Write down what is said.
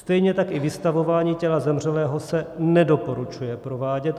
Stejně tak i vystavování těla zemřelého se nedoporučuje provádět.